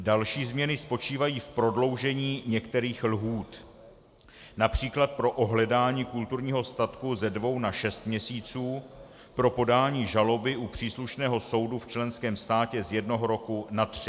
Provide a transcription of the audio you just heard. Další změny spočívají v prodloužení některých lhůt, například pro ohledání kulturního statku ze dvou na šest měsíců, pro podání žaloby u příslušného soudu v členském státě z jednoho roku na tři.